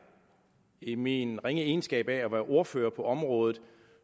i min ringe egenskab af at være ordfører på området